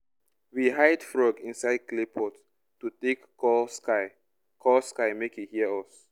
we hide frog inside clay pot to take call sky call sky make e hear us.